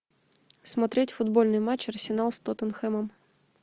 смотреть футбольный матч арсенал с тоттенхэмом